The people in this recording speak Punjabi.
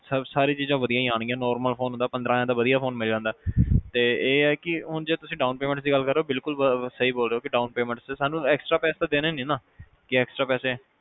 ਸਾਰੀ ਚੀਜ਼ਾਂ ਵਧੀਆ ਹੀ ਅਣਗੀਆਂ normal phone ਹੁੰਦਾ' ਪੰਦਰਾਂ ਹਜ਼ਾਰ ਦਾ ਤਾਂ ਵਧੀਆ ਫੋਨ ਮਿਲ ਜਾਂਦਾ ਤੇ ਇਹ ਆ ਕੇ ਹੁਣ ਜੇ ਤੁਸੀਂ down payment ਦੀ ਗੱਲ ਕਰ ਰਹੇ ਓ ਬਿਲਕੁਲ ਸਹੀ ਬੋਲ ਰਹੇ ਓ ਕੇ down payment ਤੇ ਸਾਨੂੰ exrtra ਪੈਸੇ ਦੇਣੇ ਨਹੀਂ ਨਾ ਕੇ extra ਪੈਸੇ